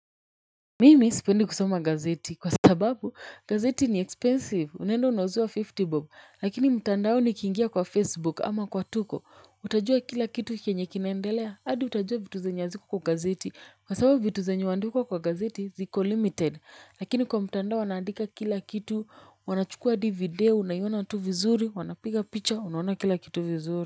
Mimi sipendi kusoma gazeti kwa sababu gazeti ni expensive, unaenda unauziwa hamsini bob lakini mtandao nikingia kwa facebook ama kwa tuko utajua kila kitu kenye kinaendelea adi utajua vitu zenye haziko kwa gazeti, kwa sababu vitu zenye huandikwa kwa gazeti ziko limited. Lakini kwa mtandao wanaandika kila kitu, wanachukua hadi video unaiona tu vizuri wanapiga picture, unaona kila kitu vizuri.